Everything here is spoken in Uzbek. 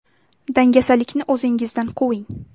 Dangasalikni o‘zingizdan quving!